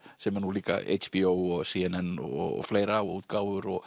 sem er nú líka HBO og c n n og fleira og útgáfur og